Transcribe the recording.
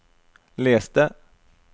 les det